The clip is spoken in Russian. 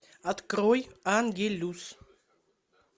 открой ангелюс